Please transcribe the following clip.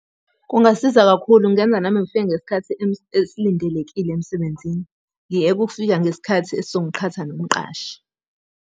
Kungasiza kakhulu kungenza nami ngifike ngesikhathi esilindelekile emsebenzini. Ngiyeke ukufika ngesikhathi esizongiqhatha nomqashi.